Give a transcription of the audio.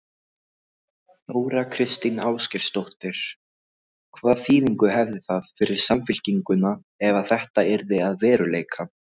Þóra Kristín Ásgeirsdóttir: Hvaða þýðingu hefði það fyrir Samfylkinguna ef að þetta yrði að veruleika?